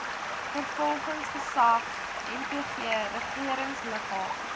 vervolgingsgesag nvg regeringsliggaam